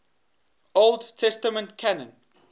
old testament canon